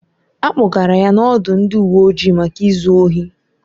A kpọgara ya n'ọdụ ndị uwe ojii maka izu ohi